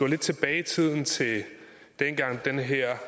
lidt tilbage i tiden til dengang den her